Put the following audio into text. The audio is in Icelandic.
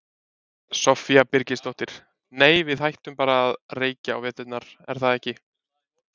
Soffía Birgisdóttir: Nei við hættum bara að reykja á veturna, er það ekki?